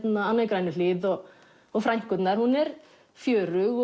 Anna í Grænuhlíð og og frænkurnar hún er fjörug